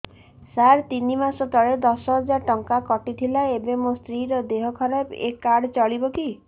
ସାର ତିନି ମାସ ତଳେ ଦଶ ହଜାର ଟଙ୍କା କଟି ଥିଲା ଏବେ ମୋ ସ୍ତ୍ରୀ ର ଦିହ ଖରାପ ଏ କାର୍ଡ ଚଳିବକି